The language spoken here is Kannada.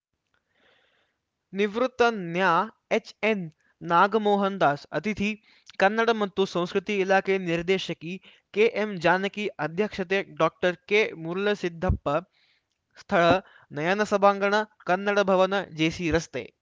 ನಿವೃತ್ತ ನ್ಯಾ ಎಚ್‌ಎನ್‌ನಾಗಮೋಹನ್‌ದಾಸ್‌ ಅತಿಥಿ ಕನ್ನಡ ಮತ್ತು ಸಂಸ್ಕೃತಿ ಇಲಾಖೆ ನಿರ್ದೇಶಕಿ ಕೆಎಂಜಾನಕಿ ಅಧ್ಯಕ್ಷತೆ ಡಾಕ್ಟರ್ಕೆಮರುಳಸಿದ್ದಪ್ಪ ಸ್ಥಳ ನಯನ ಸಭಾಂಗಣ ಕನ್ನಡ ಭವನ ಜೆಸಿರಸ್ತೆ